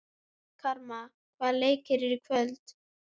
Karma, hvaða leikir eru í kvöld?